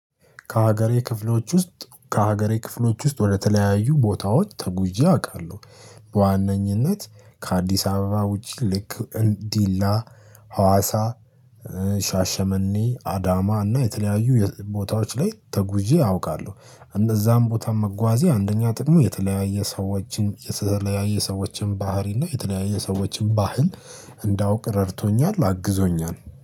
ከሀገሬ ክፍሎች ውስጥ ከሀገሬ ክፍሎች ውስጥ ወደተለያዩ ቦታዎች ተጉዤ አውቃለሁ። በዋነኝነት ከአዲስ አበባ ውጪ ልክ እን ዲላ ሀዋሳ ሻሸመኔ አዳማ እና የተለያዩ የ ቦታዎች ላይ ተጉዤ አውቃለሁ። እንደዛም ቦታ መጓዜ አንደኛ ጥቅሙ የተለያየ ሰዎችን የተለያየ ሰዎችን ባህሪ እና የተለያየ ሰዎችን ባህል እንዳውቅ ረድቶኛል አግዞኛል